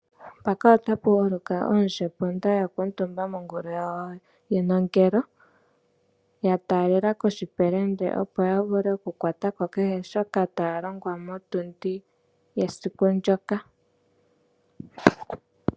Oondjepunda yakuutumba mongulu yawo yenongelolo yataalela koshipelende opo yavule okukwatako kehe shoka taalongwa motundi esiku ndyoka.